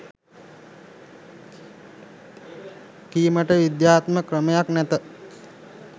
කීමට විද්‍යාත්මක ක්‍රමයක් නැත.